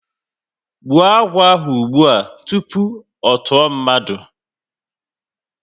Gbuo agwọ ahụ ụgbụa tupu ọ tụọ mmadụ!